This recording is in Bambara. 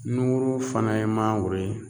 Nukurun fana ye mangoro ye